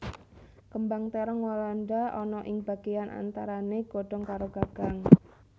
Kembang térong walanda ana ing bagéyan antarané godhong karo gagang